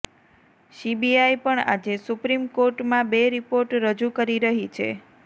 CBI પણ આજે supreme કોર્ટમાં બે રિપોર્ટ રજૂ કરી રહી છે